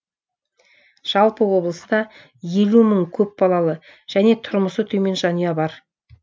жалпы облыста елу мың көпбалалы және тұрмысы төмен жанұя бар